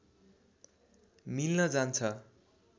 मिल्न जान्छ